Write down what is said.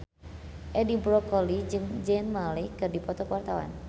Edi Brokoli jeung Zayn Malik keur dipoto ku wartawan